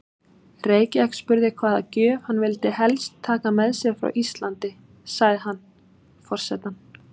Reykjavík spurði hvaða gjöf hann vildi helst taka með sér frá Íslandi, sagði hann: Forsetann